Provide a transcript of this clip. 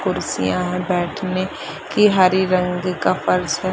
कुर्सियाँ है बैठने की हरी रंग का फर्श है।